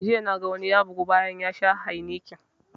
Jiya na ga wani ya bugu bayan ya sha heineken